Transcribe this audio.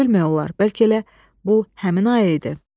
Nə bilmək olar, bəlkə elə bu həmin ayı idi?